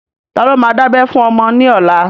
Ta ló ma dábẹ́ fún ọmọ ní ọlá?